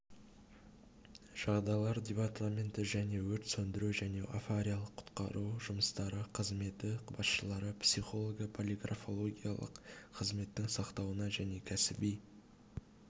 жағдайлар департаменті және өрт сөндіру және авариялық-құтқару жұмыстары қызметі басшылары психолого-полиграфологиялық қызметтің сақтауына және кәсіби